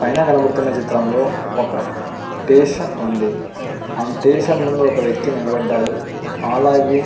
పైన కనపడుతున్న చిత్రంలో ఒక స్టేషన్ ఉంది ఆ స్టేషన్ ముందు ఒక వేక్తి నిలబడ్డాడు అలాగే --